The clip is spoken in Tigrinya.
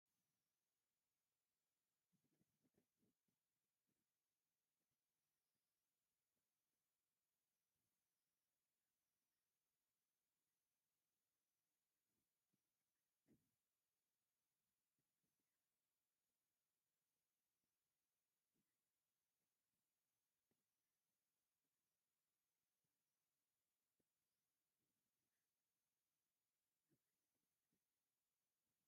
እዚ ብለይቲ እቲ ቤተክርስትያን ብመብራህቲ ዝበርህ ኮይኑ ብዙሓት ሰባት ኣብ ቅድሚኡ ተኣኪቦም ወርቃዊ መስቀል የብዕሉ። እቲ መድረኽ ብክርስትያናዊ መብራህትን ዕምባባታትን ዝተሰለመ ኮይኑ፡ውሽጣዊ ክፍሊ ድማ ብሰማያዊ ሕብሪ ይበርህ። እዚ ብብርሃን መሊኡዝተኣከቡ ሰዓብቲ ብኽብሪ ኣብ ቅድሚ ቤተ ክርስቲያን ይረኣዩ።